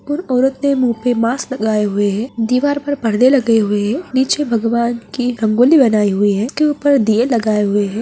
और औरत ने मुँह पे मास्क लगाए हुए है दीवार पर परदे लगे हुए है नीचे भगवान की रंगोली बनाई हुई है उसके ऊपर दिये लगाए हुए है।